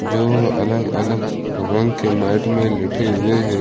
जो अलग अलग रंग के मैट में लेते हुए हैं।